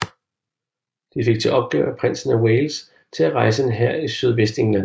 De fik til opgave af prinsen af Wales til at rejse en hær i Sydvestengland